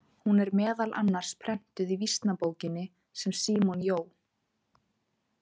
Hún er meðal annars prentuð í Vísnabókinni sem Símon Jóh.